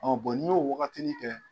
n'i y'o o wagatinin kɛ